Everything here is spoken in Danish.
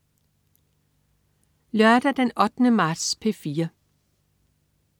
Lørdag den 8. marts - P4: